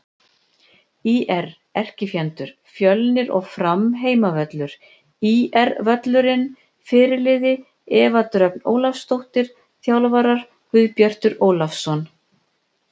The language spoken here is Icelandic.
ÍR: Erkifjendur: Fjölnir og Fram Heimavöllur: ÍR-völlurinn Fyrirliði: Eva Dröfn Ólafsdóttir Þjálfarar: Guðbjartur Ólafsson